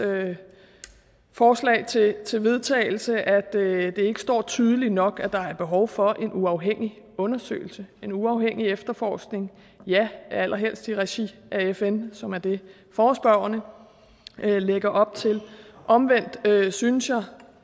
forslag til til vedtagelse at det ikke står tydeligt nok at der er behov for en uafhængig undersøgelse en uafhængig efterforskning og ja allerhelst i regi af fn som er det forespørgerne lægger op til omvendt synes jeg og